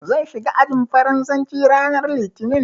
Zan shiga ajin Faransanci ranar Litinin.